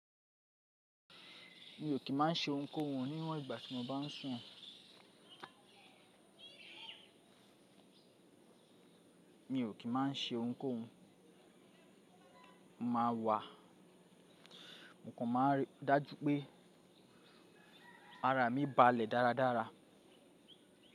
Mi ò kí má ń se ohunkóhun níwọ̀n ìgbà tí mo bá ń sùn. Mi ò kí má a ń se ohunkóhun, màá wà, mò kan ma n ri dájú pé ara mi balẹ̀ dáradára.